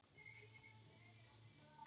Hvenær héldum við síðast hreinu?